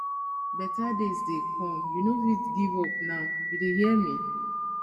beta days dey come you no fit give up now you dey hear me